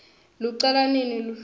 lucala nini luhlolo